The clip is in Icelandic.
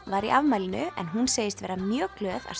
var í afmælinu en hún segist vera mjög glöð að